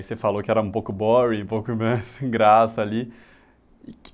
Você falou que era um pouco boring, um pouco, né, sem graça ali. E que